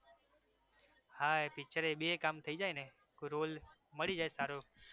હા પિક્ચરેય એ બેય કામ થઈ જાય ને? role મલી જાય સારો